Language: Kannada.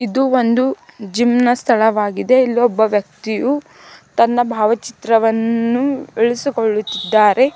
ಇದು ಒಂದು ಜಿಮ್ ನ ಸ್ಥಳವಾಗಿದೆ ಇಲ್ಲಿ ಒಬ್ಬ ವ್ಯಕ್ತಿಯು ತನ್ನ ಭಾವಚಿತ್ರವನ್ನು ಇಳಿಸಿಕೊಳ್ಳುತ್ತಿದ್ದಾರೆ.